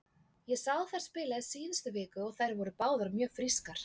Ég sá þær spila í síðustu viku og þær voru báðar mjög frískar.